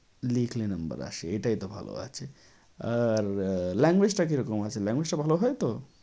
লিখলে number আসে এটাই তো ভালো আছে। আর language টা কিরকম আছে? language টা ভালো হয় তো?